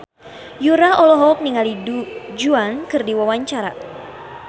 Yura olohok ningali Du Juan keur diwawancara